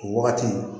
O wagati